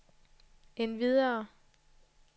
endvidere